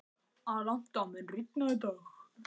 Alanta, mun rigna í dag?